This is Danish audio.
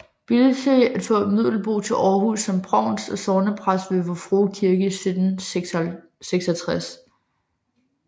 Bildsøe at få Middelboe til Aarhus som provst og sognepræst ved Vor Frue Kirke i 1766